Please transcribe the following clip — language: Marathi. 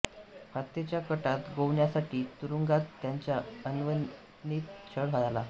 हत्येच्या कटात गोवण्यासाठी तुरुंगात त्यांचा अनन्वित छळ झाला